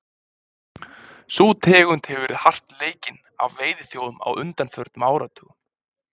sú tegund hefur verið hart leikinn af veiðiþjófum á undanförnum áratugum